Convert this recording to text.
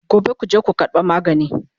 Gobe kuje ku karɓo magani!